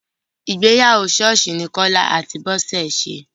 Ìgbéyàwó ṣọ́ọ́ṣì ní Kọ́lá àti Bọ́sẹ̀ ṣe.